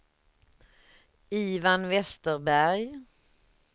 Ivan Westerberg